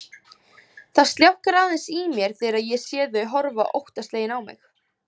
Það sljákkar aðeins í mér þegar ég sé þau horfa óttaslegin á mig.